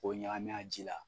K'o ɲagami a ji la